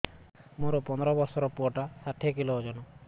ମୋର ପନ୍ଦର ଵର୍ଷର ପୁଅ ଟା ଷାଠିଏ କିଲୋ ଅଜନ